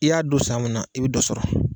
I y'a don san mun na i be dɔ sɔrɔ